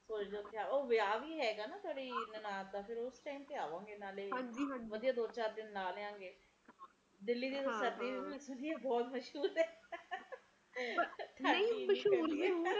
ਉਹ ਵਿਆਹ ਵੀ ਹੇਗਾ ਨਾ ਸਾਡੀ ਨਨਾਣ ਦਾ ਫਿਰ ਉਸ ਟੀਮੇ ਤੇ ਆਵਾਂਗੇ ਤੇ ਨਾਲੇ ਵਧੀਆ ਦੋ-ਚਾਰ ਦਿਨ ਲਾ ਲਾਗੇ ਦਿੱਲੀ ਦੇ ਸਰਦੀ ਵੀ ਬਹੁਤ ਮਸ਼ਹੂਰ ਹੈ ਨਹੀਂ ਮਸ਼ਹੂਰ ਨੀ